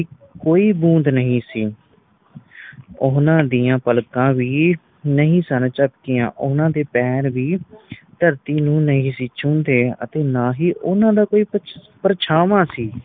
ਕੋਈ ਬੁੰਧ ਨਹੀਂ ਸੀ ਓਹਨਾ ਦੀਆ ਪਲਕਾਂ ਵੀ ਨਹੀਂ ਸਨ ਜਦਕੀਆ ਓਹਨਾ ਦੇ ਪੈਰ ਵੀ ਧਰਤੀ ਨੂੰ ਨਹੀਂ ਸੀ ਛੂੰਦੇ ਅਤੇ ਨਾ ਹੀ ਓਹਨਾ ਦਾ ਕੋਈ ਪਰ ਪਰਛਾਵਾਂ ਸੀ